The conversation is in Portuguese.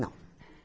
Não.